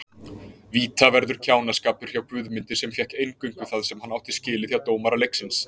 Vítaverður kjánaskapur hjá Guðmundi sem fékk eingöngu það sem hann átti skilið hjá dómara leiksins.